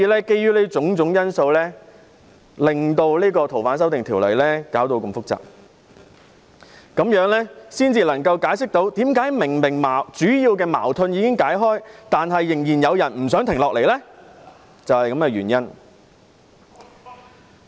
基於種種因素，《逃犯條例》的修訂便弄得如此複雜，這樣才能解釋為何修例的主要矛盾已經解開，但仍然有人不想停下來。